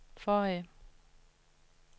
forrige